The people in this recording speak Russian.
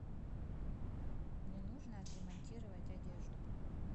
мне нужно отремонтировать одежду